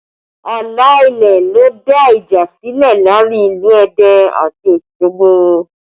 Ààlà ilẹ̀ ló dá ìjà sílẹ̀ láàrin ìlú Ẹdẹ àti Osogbo